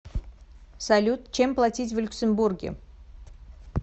салют чем платить в люксембурге